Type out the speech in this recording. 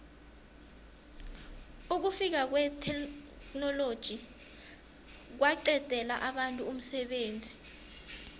ukufika kwetheknoloji kwaqedela abantu umsebenzi